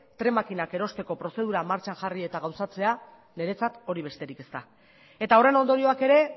tren makinak erosteko prozedura martxan jarri eta gauzatzea niretzat hori besterik ez da eta horren ondorioak ere